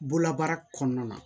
Bolola baara kɔnɔna na